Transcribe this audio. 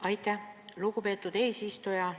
Aitäh, lugupeetud eesistuja!